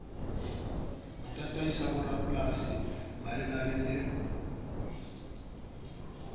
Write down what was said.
ho tataisa boramapolasi malebana le